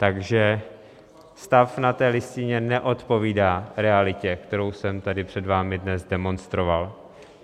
Takže stav na té listině neodpovídá realitě, kterou jsem tady před vámi dnes demonstroval.